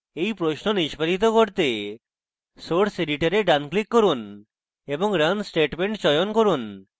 এই প্রশ্ন নিস্পাদিত করতে source editor ডান click run এবং run statement চয়ন run